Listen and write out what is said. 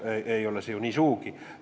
See ei ole ju sugugi nii.